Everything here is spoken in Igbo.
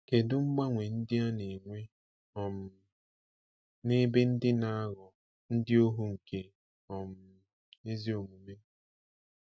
Kedu mgbanwe ndị a na-enwe um n'ebe ndị na-ghọ ndị ohu nke um ezi omume?